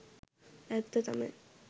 ඇත්ත තමයි.